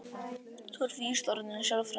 Þú ert víst orðin sjálfráða.